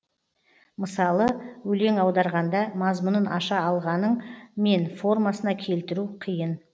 мысалы өлең аударғанда мазмұнын аша алғаның мен формасына келтіру қиын